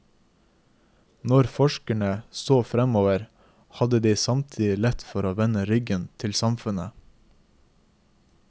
Når forskerne så fremover, hadde de samtidig lett for å vende ryggen til samfunnet.